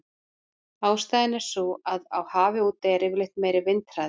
Ástæðan er sú að á hafi úti er yfirleitt meiri vindhraði.